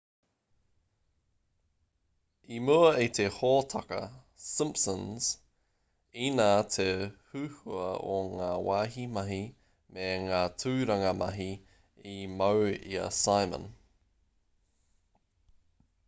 i mua i te hōtaka simpsons inā te huhua o ngā wāhi mahi me ngā tūranga mahi i mau i a simon